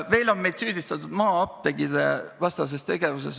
Veel on meid süüdistatud maa-apteekidevastases tegevuses.